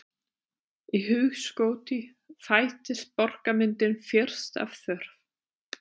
Í hugskoti fæddist borgarmyndin fyrst af þörf.